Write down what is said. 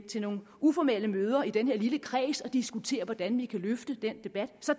til nogle uformelle møder i den her lille kreds og diskuterer hvordan vi kan løfte den debat så